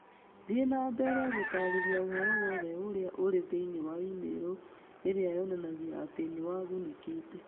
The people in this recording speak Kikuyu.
Thiĩ na mbere gũtaarĩria ũhoro wothe ũrĩa ũrĩ thĩinĩ wa e-mail ĩrĩa yonanagia atĩ nĩ wagunĩkĩte.